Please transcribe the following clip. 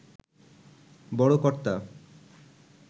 বড় কর্তা